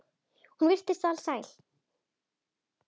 Hún virtist alsæl.